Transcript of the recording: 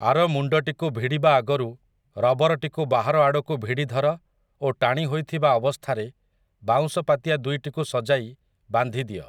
ଆର ମୁଣ୍ଡଟିକୁ ଭିଡି଼ବା ଆଗରୁ ରବରଟିକୁ ବାହାର ଆଡ଼କୁ ଭିଡି଼ ଧର ଓ ଟାଣି ହୋଇଥିବା ଅବସ୍ଥାରେ ବାଉଁଶ ପାତିଆ ଦୁଇଟିକୁ ସଜାଇ ବାନ୍ଧି ଦିଅ ।